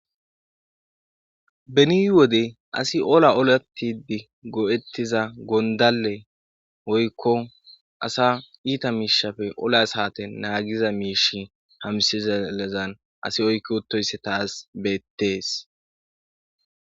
Beni wode asi ola olatidi go7ettiza gondale oykko asa iita miishafe ola saate naagiza miishi hamsi zelezan asi oykko otoysse taas beettees.